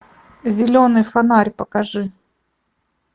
зеленый фонарь покажи